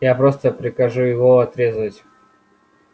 я просто прикажу его отрезать